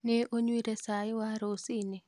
Nĩ unywire cai wa rũcinĩ?